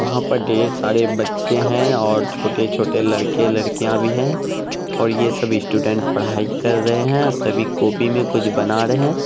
वहाँ पे ढेर सारे बच्चे हैं ओर छोटे-छोटे लड़के-लड़कियां भी हैं ओर ये सब स्टूडेंट पढ़ाई कर रहे हैं सभी कॉपी मे कुछ बना रहे हैं।